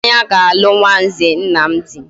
Ifunanya ga alu nwa nze Nnamdi